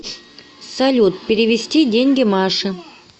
салют перевести деньги маше